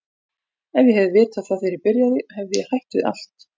Ef ég hefði vitað það þegar ég byrjaði hefði ég hætt við allt.